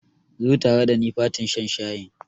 Zo tare dani fatin shan shayin.